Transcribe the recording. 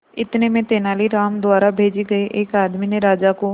इतने में तेनालीराम द्वारा भेजे गए एक आदमी ने राजा को